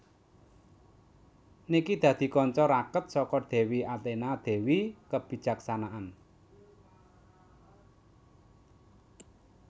Nike dadi kanca raket saka dewi Athena dewi kebijaksanaan